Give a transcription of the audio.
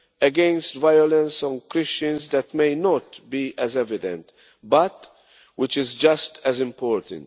our work against violence on Christians that may not be as evident, but which is just as important.